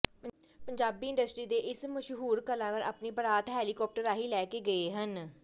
Punjabi industry ਦੇ ਇਸ ਮਸਹੂਰ ਕਲਾਕਾਰ ਆਪਣੀ ਬਾਰਾਤ ਹੈਲੀਕਾਪਟਰ ਰਾਹੀ ਲੈਕੈ ਗਏ ਹਨ